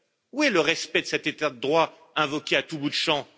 Où est le respect de cet état de droit invoqué à tout bout de champ?